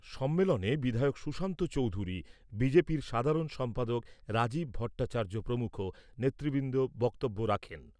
সম্মেলনে বিধায়ক সুশান্ত চোধুরী, বি জে পির সাধারণ সম্পাদক রাজীব ভট্টাচার্য প্রমুখ নেতৃবৃন্দ বক্তব্য রাখেন।